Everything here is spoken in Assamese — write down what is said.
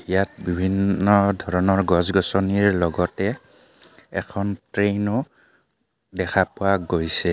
ইয়াত বিভিন্ন ধৰণৰ গছ গছনিৰ লগতে এখন ট্ৰেইনো দেখা পোৱা গৈছে।